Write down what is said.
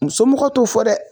U somɔgɔw t'o fɔ dɛ